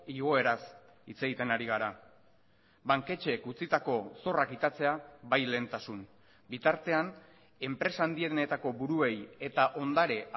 igoeraz hitz egiten ari gara banketxeek utzitako zorra kitatzea bai lehentasun bitartean enpresa handienetako buruei eta ondare